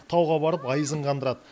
тауға барып айызын қандырады